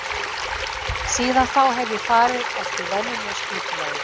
Síðan þá hef ég farið eftir venjulegu skipulagi.